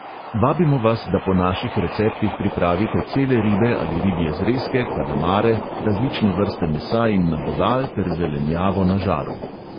Vabimo vas, da po naših receptih pripravite cele ribe ali ribje zrezke, kalamare, različne vrste mesa in nabodal ter zelenjavo na žaru.